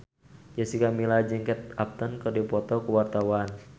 Jessica Milla jeung Kate Upton keur dipoto ku wartawan